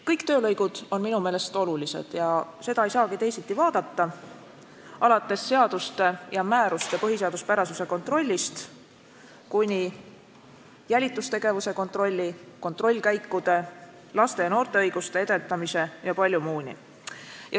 Kõik töölõigud on minu meelest olulised – ja seda ei saagi teisiti vaadata –, alates seaduste ja määruste põhiseaduspärasuse kontrollist kuni jälitustegevuse kontrolli, kontrollkäikude, laste ja noorte õiguste edendamise ja palju muu selliseni.